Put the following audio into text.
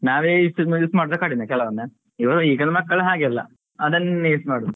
ನಾವೇ ಇಷ್ಟು use ಮಾಡುದ್ ಕಡಿಮೆ ಕೆಲವೊಮ್ಮೆ ಇವರು ಈಗಿನ ಮಕ್ಕಳು ಹಾಗೆ ಅಲ್ಲ ಅದನ್ನೇ use ಮಾಡುದು.